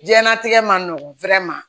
Diɲɛnatigɛ ma nɔgɔn ma